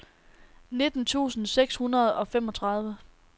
nitten tusind seks hundrede og femogtredive